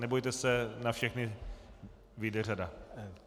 Nebojte se, na všechny vyjde řada.